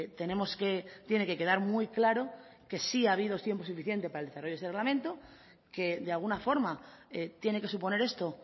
tenemos que tiene que quedar muy claro que sí ha habido tiempos suficiente para el desarrollo de ese reglamento que de alguna forma tiene que suponer esto